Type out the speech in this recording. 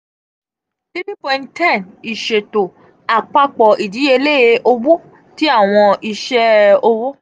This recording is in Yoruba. three point ten iṣeto apapọ idiyele owo ti awọn iṣe owo.